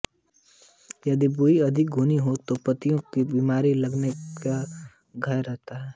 यदि बुआई अधिक घनी है तो पत्तियों में बीमारी लगने का भय रहता है